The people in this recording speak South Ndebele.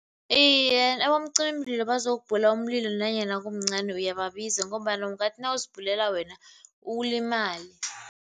Iye, abomcimimlilo bazokubhula umlilo nanyana kumncani uyababiza ngombana ungathi nawuzibhulela wena ulimale.